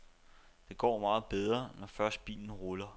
Det går meget bedre, når først bilen ruller.